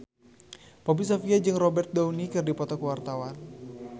Poppy Sovia jeung Robert Downey keur dipoto ku wartawan